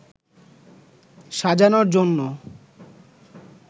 সাজানোর জন্য